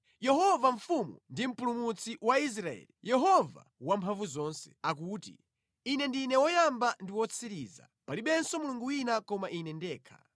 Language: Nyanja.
“Yehova Mfumu ndi Mpulumutsi wa Israeli, Yehova Wamphamvuzonse akuti: Ine ndine woyamba ndi wotsiriza; palibenso Mulungu wina koma Ine ndekha.